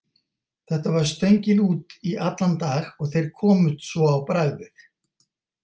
Þetta var stöngin út í allan dag og þeir komust svo á bragðið.